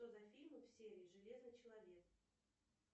что за фильмы в серии железный человек